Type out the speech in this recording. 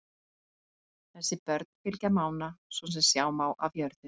Þessi börn fylgja Mána, svo sem sjá má af jörðu.